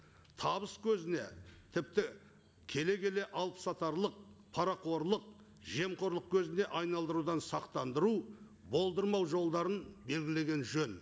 табыс көзіне тіпті келе келе алып сатарлық парақорлық жемқорлық көзіне айналдырудан сақтандыру болдырмау жолдарын белгілеген жөн